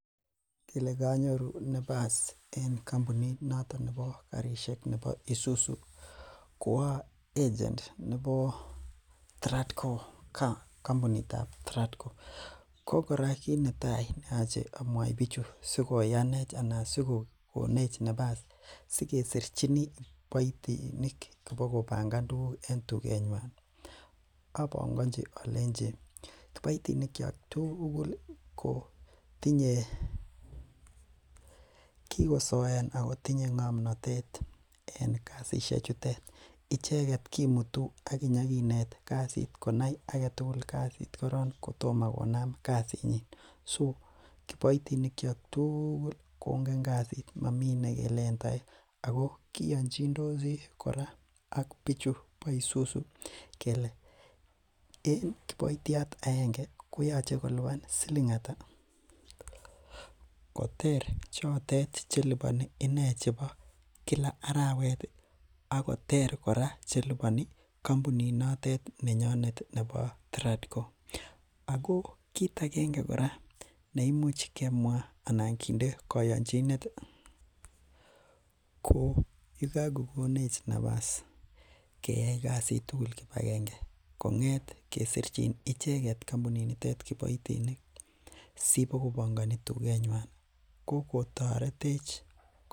Elekanyoru nefas en kampunit noton nebo Isuzu, ko a agent nebo Tradco , kampunitab, Tradco ko kora kit netai neyache amwai bichu sikoyanech anan sikokonech nefas sikeboisien tugul akesirchi kiboitinik kobogo pangan tuguk en tuget nyuan ih , abangachi alenchi kiboitinik kuak tugul ih kotinye, kigosoean ago tinye ng'amnotet en kasisiek chotet icheket kimitu aginyaginet kasit koyai agetugul kasit koron kotomo konam kasit nyin so kiboitinik chehcak tugul kongen kasit mamii nekelen taek ago kiyani kiyanchindosi ak bichu kele en kiboityot aenge koyache koluban siling ata koter chotet chelubani ine chebo Kila arawet ih akoter kora kampunit notet nenyunet nebo Tradco. Ago kit agenge neimuch kemwa anan kinde kayanchinet ih ko yekan kokonech nefas keyai kasit tugul kibagenget kesirchin icheket kampunit nitet nebo kiboitinik siibokopangani tuget nyuan ko kotaretech